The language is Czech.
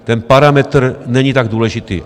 Ten parametr není tak důležitý.